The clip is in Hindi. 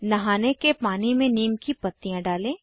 नहाने के पानी में नीम की पत्तियां डालें